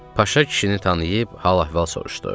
Paşa kişini tanıyıb hal-əhval soruşdu.